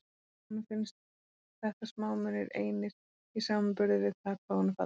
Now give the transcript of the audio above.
En honum finnst þetta smámunir einir í samanburði við það hvað hún er falleg.